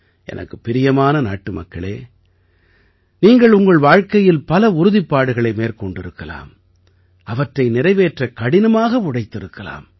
எனக்குப் பிரியமான நாட்டுமக்களே நீங்கள் உங்கள் வாழ்க்கையில் பல உறுதிப்பாடுகளை மேற்கொண்டிருக்கலாம் அவற்றை நிறைவேற்ற கடினமாக உழைத்திருக்கலாம்